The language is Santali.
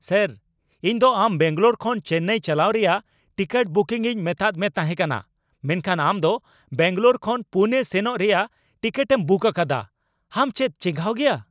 ᱥᱮᱹᱨ ! ᱤᱧ ᱫᱚ ᱟᱢ ᱵᱮᱝᱜᱟᱞᱳᱨ ᱠᱷᱚᱱ ᱪᱮᱱᱱᱟᱭ ᱪᱟᱞᱟᱣ ᱨᱮᱭᱟᱜ ᱴᱤᱠᱤᱴ ᱵᱩᱠᱤᱝ ᱤᱧ ᱢᱮᱛᱟᱫ ᱢᱮ ᱛᱟᱦᱮᱸ ᱠᱟᱱᱟ ᱢᱮᱱᱠᱷᱟᱱ ᱟᱢ ᱫᱚ ᱵᱮᱝᱜᱟᱞᱳᱨ ᱠᱷᱚᱱ ᱯᱩᱱᱮ ᱥᱮᱱᱚᱜ ᱨᱮᱭᱟᱜ ᱴᱤᱠᱤᱴᱮᱢ ᱵᱩᱠ ᱟᱠᱟᱫᱟ ᱾ ᱟᱢ ᱪᱮᱫ ᱪᱮᱸᱜᱷᱟᱣ ᱜᱮᱭᱟ ?